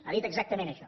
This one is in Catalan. ha dit exactament això